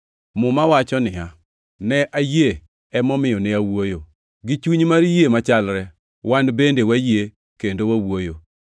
Muma wacho niya, “Ne ayie emomiyo ne awuoyo.” + 4:13 \+xt Zab 116:10\+xt* Gi chuny mar yie machalre, wan bende wayie kendo wawuoyo,